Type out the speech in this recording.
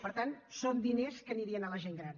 per tant són diners que anirien a la gent gran